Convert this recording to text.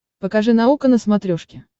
покажи наука на смотрешке